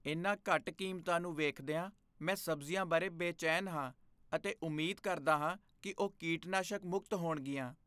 ਇਨ੍ਹਾਂ ਘੱਟ ਕੀਮਤਾਂ ਨੂੰ ਵੇਖਦਿਆਂ, ਮੈਂ ਸਬਜ਼ੀਆਂ ਬਾਰੇ ਬੇਚੈਨ ਹਾਂ ਅਤੇ ਉਮੀਦ ਕਰਦਾ ਹਾਂ ਕਿ ਉਹ ਕੀਟਨਾਸ਼ਕ ਮੁਕਤ ਹੋਣਗੀਆਂ।